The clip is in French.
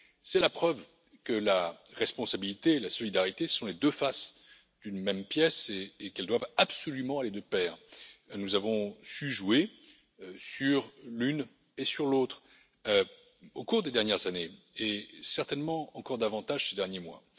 C'est la preuve que la responsabilité et la solidarité sont les deux faces d'une même pièce et qu'elles doivent absolument aller de pair. Nous avons su jouer sur l'une et sur l'autre au cours des dernières années, et certainement encore davantage ces derniers mois.